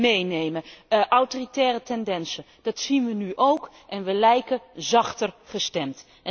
meenemen, autoritaire tendensen, dat zien wij nu ook en wij lijken zachter gestemd.